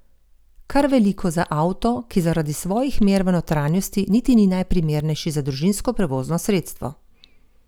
Kar veliko za avto, ki zaradi svojih mer v notranjosti niti ni najprimernejši za družinsko prevozno sredstvo.